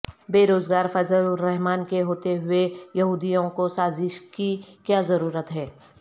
بے روز گار فضل الرحمان کے ہوتے ہوئے یہودیوں کو سازش کی کیا ضرورت ہے